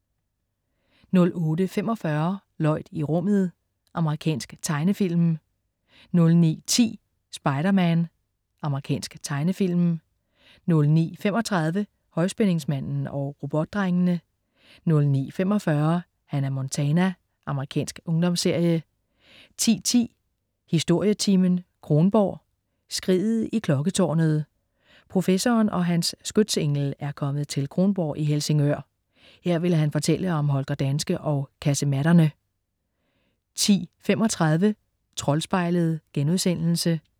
08.45 Lloyd i rummet. Amerikansk tegnefilm 09.10 Spider-Man. Amerikansk tegnefilm 09.35 Højspændingsmanden og Robotdrengene 09.45 Hannah Montana. Amerikansk ungdomsserie 10.10 Historietimen: Kronborg. "Skriget i klokketårnet". Professoren og hans skytsengel er kommet til Kronborg i Helsingør. Her vil han fortælle om Holger Danske og kasematterne 10.35 Troldspejlet*